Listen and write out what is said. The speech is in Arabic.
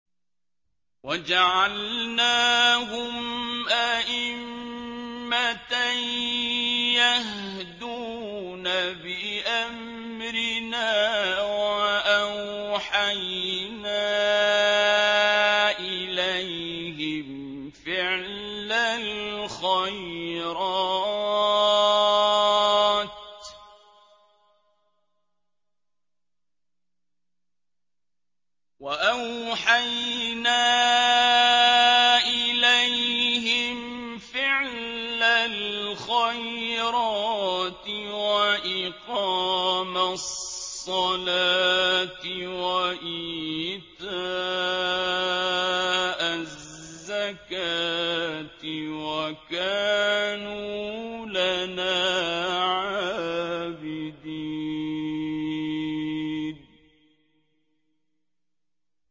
وَجَعَلْنَاهُمْ أَئِمَّةً يَهْدُونَ بِأَمْرِنَا وَأَوْحَيْنَا إِلَيْهِمْ فِعْلَ الْخَيْرَاتِ وَإِقَامَ الصَّلَاةِ وَإِيتَاءَ الزَّكَاةِ ۖ وَكَانُوا لَنَا عَابِدِينَ